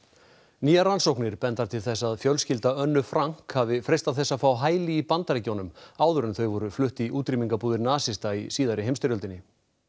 nýjar rannsóknir benda til þess að fjölskylda Önnu Frank hafi freistað þess að fá hæli í Bandaríkjunum áður en þau voru flutt í útrýmingarbúðir nasista í síðari heimsstyrjöldinni